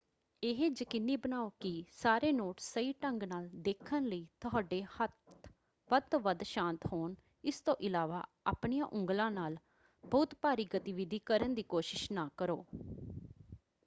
ਇਹ ਯਕੀਨੀ ਬਣਾਓ ਕਿ ਸਾਰੇ ਨੋਟਸ ਸਹੀ ਢੰਗ ਨਾਲ ਦੇਖਣ ਲਈ ਤੁਹਾਡੇ ਹੱਥ ਵੱਧ ਤੋਂ ਵੱਧ ਸ਼ਾਂਤ ਹੋਣ – ਇਸ ਤੋਂ ਇਲਾਵਾ ਆਪਣੀਆਂ ਉਂਗਲਾਂ ਨਾਲ ਬਹੁਤੀ ਭਾਰੀ ਗਤੀਵਿਧੀ ਕਰਨ ਦੀ ਕੋਸ਼ਿਸ਼ ਨਾ ਕਰੋ।